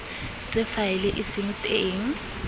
tse faele e seng teng